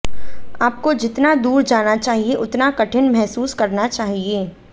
आपको जितना दूर जाना चाहिए उतना कठिन महसूस करना चाहिए